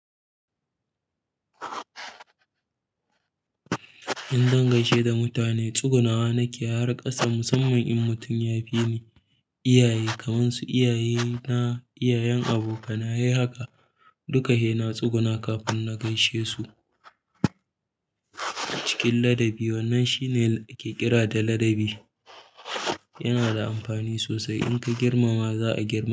Idan zan gaishe da mutane, tsuguna wa nake har ƙasa musamman in mutum ya fi ni. Iyaye kamar su iyaye na, iyayen abokana, sai haka duka hena tsuguna kafin na gaishe su. Cikin ladabi wannan shine ake kira da ladabi. Yana da amfani sosai in ka girmama za a girmake ka.